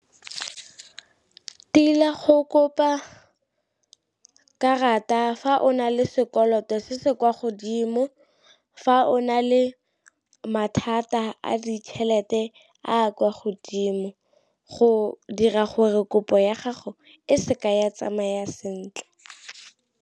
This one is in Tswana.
Tila go kopa karata fa o na le sekoloto se se kwa godimo, fa o na le mathata a ditšhelete a a kwa godimo, go dira gore kopo ya gago e seka ya tsamaya sentle.